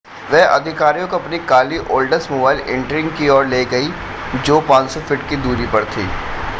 वह अधिकारियों को अपनी काली ओल्ड्समोबाइल इंट्रीग की ओर ले गई जो 500 फीट की दूरी पर थी